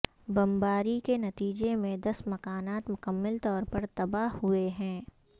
بمباری کے نتیجے میں دس مکانات مکمل طور پر تباہ ہوئے ہیں